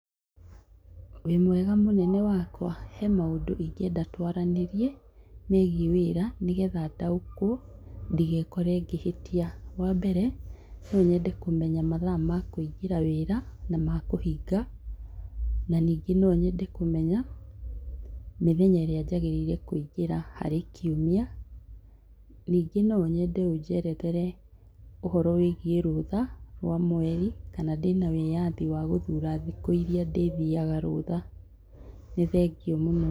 Wĩ mwega mũnene wakwa, he maũndũ ingĩenda twaranĩrie, megiĩ wira, nĩgetha ndaũkwo ndigeekore ngĩhĩtia. Wa mbere, no nyende kũmenya mathaa ma kũingĩra wĩra, na ma kũhinga. Na ningĩ no nyende kũmenya mĩthenya ĩrĩa njagĩrĩire kũingĩra harĩ kiumia. Ningĩ no nyende ũnjerethere ũhoro wĩgiĩ rũtha rwa mweri, kana ndĩna wĩyathi wa gũthura thikũ iria ndĩthiaga rũtha. Nĩ thengiũ mũno.